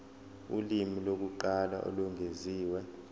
ulimi lokuqala olwengeziwe